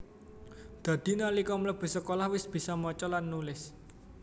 Dadi nalika mlebu sekolah wis bisa maca lan nulis